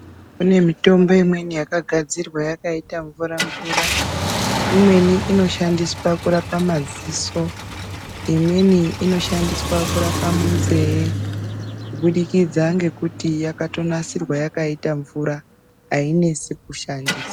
Kune mitombo imweni yakagadzirwa yakaita mamvura mvura. Imweni inoshandiswa kurapa madziso, imweni inoshandiswa kurapa munzeye kubudikidza ngekuti yakatonasirwa yakaita mvura aitonesi kuishandisa.